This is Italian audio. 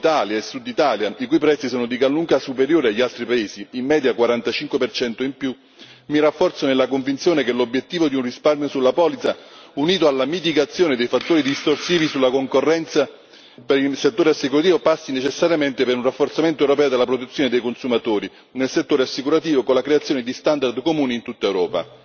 Auto Italia e Sud Italia, i cui prezzi sono di gran lunga superiori agli altri Paesi, in media 45 in più, mi rafforzo nella convinzione che l'obiettivo di un risparmio sulla polizza, unito alla mitigazione dei fattori distorsivi sulla concorrenza per il settore assicurativo, passi necessariamente per un rafforzamento europeo della protezione dei consumatori nel settore assicurativo, con la creazione di standard comuni in tutta Europa.